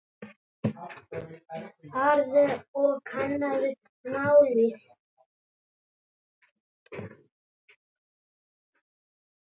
Farðu og kannaðu málið.